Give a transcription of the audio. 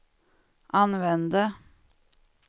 använde